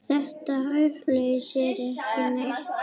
Þetta upphaf lýsir Siggu vel.